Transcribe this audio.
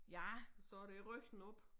Ja så det ryggen op